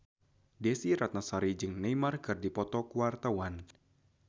Desy Ratnasari jeung Neymar keur dipoto ku wartawan